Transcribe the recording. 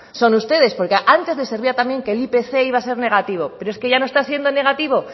son ustedes porque antes les servía también que el ipc iba a ser negativo pero es que ya no está siendo negativo